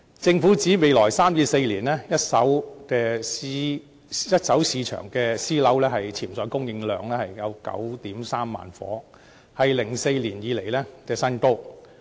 政府指未來3至4年，一手市場私人樓宇的潛在供應量有 93,000 個單位，是2004年以來的新高。